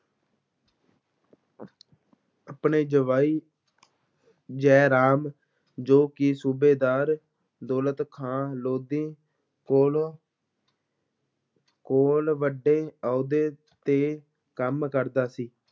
ਆਪਣੇ ਜਵਾਈ ਜੈ ਰਾਮ ਜੋ ਕਿ ਸੂਬੇਦਾਰ ਦੌਲਤ ਖਾਂ ਲੋਧੀ ਕੋਲ ਕੋਲ ਵੱਡੇ ਅਹੁਦੇ ਤੇ ਕੰਮ ਕਰਦਾ ਸੀ।